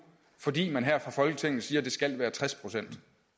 fordi man her fra folketinget siger at det skal være tres procent